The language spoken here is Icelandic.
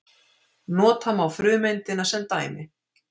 Nota má frumeindina sem dæmi.